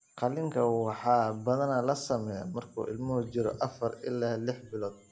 Qaliinka waxaa badanaa la sameeyaa markuu ilmuhu jiro afar ilaa lix bilood.